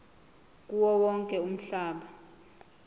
kuwo wonke umhlaba